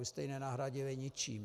Vy jste ji nenahradili ničím.